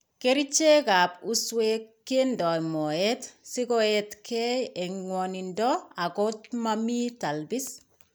Kerichekap uuswek kindo mooyeet sikoeetkeey en ngwonindo ak komamii talbis.